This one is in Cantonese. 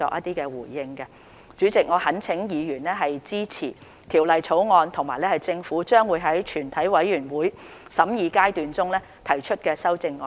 代理主席，我懇請議員支持《條例草案》及政府將在全體委員會審議階段中提出的修正案。